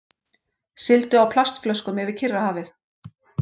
Sigldu á plastflöskum yfir Kyrrahafið